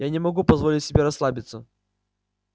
я не могу позволить себе расслабиться